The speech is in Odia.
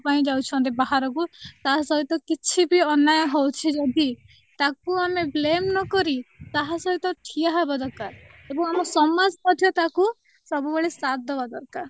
ପାଇଁ ଯାଉଛନ୍ତି ବାହାରକୁ ତା ସହିତ କିଛି ବି ଅନ୍ୟାୟ ହଉଛି ଯଦି ତାକୁ ଆମେ blame ନ କରି ତାହାସହିତ ଠିଆ ହେବା ଦରକାର ଏବଂ ଆମ ସମାଜ ପଛେ ସବୁବେଳେ ତାକୁ ଦେବା ଦରକାର